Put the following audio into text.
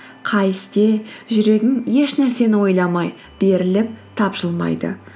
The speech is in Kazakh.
қай істе жүрегің ешнәрсені ойламай беріліп тапшылмайды